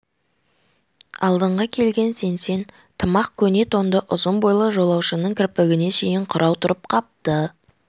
алдыңғы келген сеңсең тымақ көне тонды ұзын бойлы жолаушының кірпігіне шейін қырау тұрып қапты